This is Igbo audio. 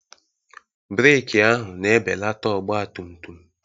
Breeki ahụ na-ebelata ọgbatumtum.